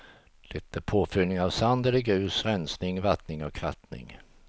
Det är påfyllning av sand eller grus, rensning, vattning och krattning.